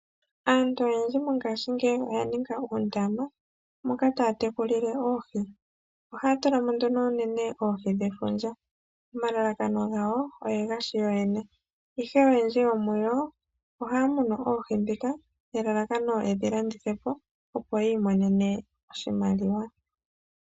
Aantu oyendji mongaashingeyi oya ninga oondama moka taya tekulile oohi. Ohaya tula mo unene oohi dhefundja nelalakano opo yatekule oohi dhawo yo yene. Koonyala aantu oyendji ohaya tekula oohi nelalakano opo yedhilandithepo ya vule okumona oshimaliwa.